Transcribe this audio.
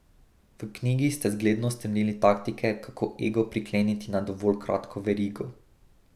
V knjigi ste zgledno strnili taktike, kako ego prikleniti na dovolj kratko verigo.